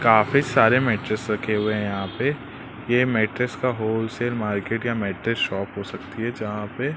काफी सारे मैट्रेस रखे हुए है यहां पे ये मैट्रेस का होलसेल मार्केट या मैट्रेस शॉप हो सकती है। जहां पे--